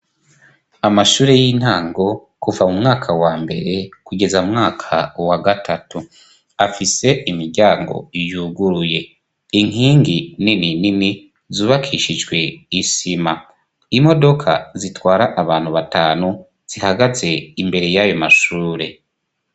Amashure y'intango kuva mu mwaka wa mbere kugeza mu mwaka wa gatatu afise imiryango yuguruye, inkingi nini nini zubakishijwe isima, imodoka zitwara abantu batanu zihagaze imbere yayo mashure.